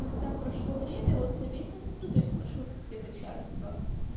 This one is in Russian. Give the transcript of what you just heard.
когда прошло время он заметил ну то есть прошло где-то час-два